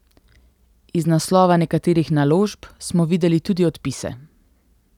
Iz naslova nekaterih naložb smo videli tudi odpise.